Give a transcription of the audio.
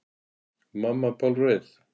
Og mamma bálreið.